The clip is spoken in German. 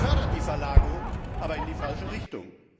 Das fördert die Verlagerung, aber in die falsche Richtung.